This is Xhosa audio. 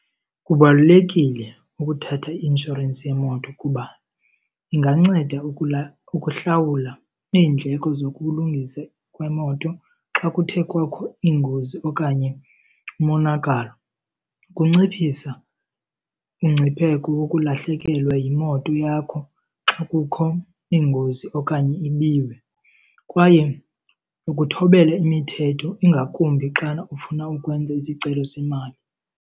Kubalulekile ukuthatha i-inshorensi yemoto kuba inganceda ukuhlawula iindleko zokulungisa kwemoto xa kuthe kwakho ingozi okanye umonakalo. Kunciphisa umngcipheko wokulahlekelwa yimoto yakho xa kukho ingozi okanye ibiwe kwaye ukuthobela imithetho ingakumbi xana ufuna ukwenza isicelo semali.